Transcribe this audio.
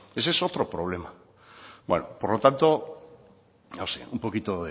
ese es otro problema bueno por lo tanto no sé un poco